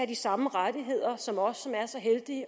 de samme rettigheder som os som er så heldige